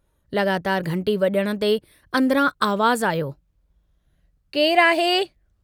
लगातार घंटी वजण ते अन्दरां आवाज़ आयो केरु आहे?